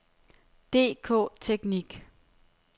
DK-Teknik